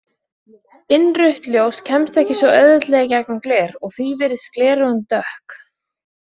Innrautt ljós kemst ekki svo auðveldlega í gegnum gler og því virðast gleraugun dökk.